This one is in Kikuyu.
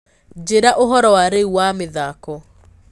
njĩĩra ũhoro wa rĩũ wa mithako